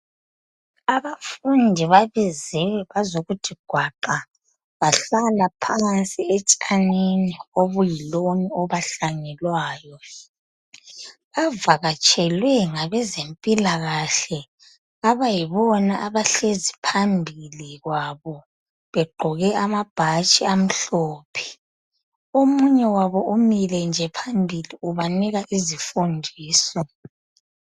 Abafundi babiziwe bazokuthi gwaqa bahlala phansi etshanini obuyiloni obahlanyelwayo. Bavakatshelwe ngabe zempilakahle abayibona abahlezi phambili kwabo begqoke amabhatshi amhlophe. Omunye wabo umile nje phambili ubanika izifundiso.